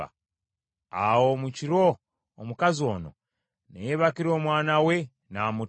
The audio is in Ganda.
“Awo mu kiro omukazi ono, ne yeebakira omwana we n’amutta.